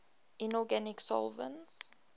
inorganic solvents